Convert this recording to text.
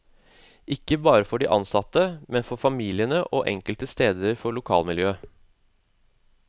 Ikke bare for de ansatte, men for familiene og enkelte steder for lokalmiljøet.